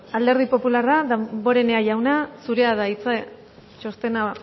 alderdi popularra damborenea jauna zurea da hitza txostena